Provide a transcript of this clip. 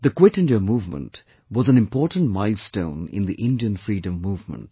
The 'Quit India Movement' was an important milestone in the Indian Freedom Movement